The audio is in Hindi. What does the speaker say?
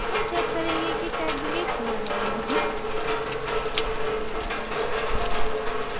हम check करेंगे कि tag डिलीट हुआ है या नहीं